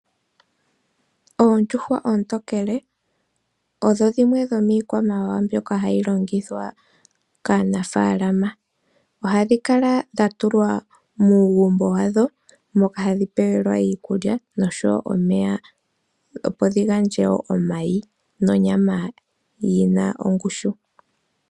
Oondjuhwa oontokele odho dhimwe dhomiikwamawawa mbyoka hayi longithwa kaanafaalama, ohadhi kala dha tulwa muugumbo wadho moka hadhi pewelwa iikulya noshowo omeya, opo dhi gandje wo omayi nonyama yina ongushu.